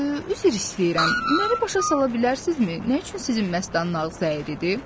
Üzr istəyirəm, məni başa sala bilərsinizmi nə üçün sizin məstanın ağzı əyridir?